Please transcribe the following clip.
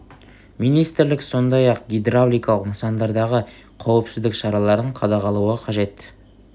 министрлік сондай-ақ гидравликалық нысандардағы қауіпсіздік шараларын қадағалауы қажет